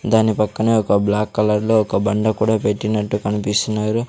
దాని పక్కనే ఒక బ్లాక్ కలర్లో ఒక బండ కూడా పెట్టినట్టు కనిపిస్తున్నారు.